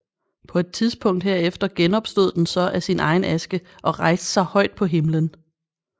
På et tidspunkt herefter genopstod den så af sin egen aske og rejste sig højt på himlen